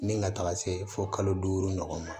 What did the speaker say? Ni ka taga se fo kalo duuru ɲɔgɔn ma